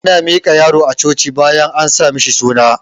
Ana miƙa yaro a coci bayan an sa mishi suna